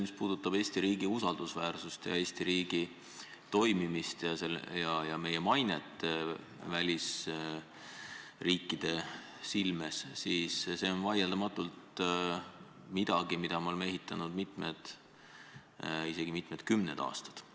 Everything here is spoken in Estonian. Mis puudutab Eesti riigi usaldusväärsust, Eesti riigi toimimist ja meie mainet välisriikide silmis, siis see on vaieldamatult midagi, mida me oleme ehitanud mitmed, isegi mitmed kümned aastad.